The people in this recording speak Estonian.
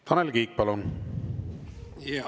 Tanel Kiik, palun!